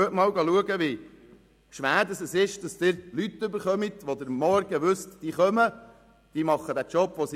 Gehen Sie einmal schauen, wie schwer es ist, Leute zu bekommen, bei denen Sie am Morgen wissen, dass sie kommen und ihren Job machen.